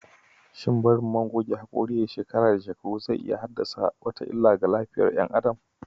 Shin barin man goge hakuri yayi shekara da shekaru zai iya haddasa wata illa ga lafiyar "yan adam?